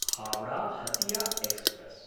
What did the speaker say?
Howrah Hatia express